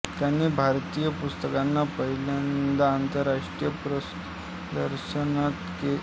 त्यांनी भारतीय पुस्तकांना पहिल्ल्यांदा आंतरराष्ट्रीय पुस्तक प्रदर्शनात नेले